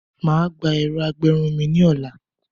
Má á gba ẹ̀rọ ìgbẹrun mi lọ́la.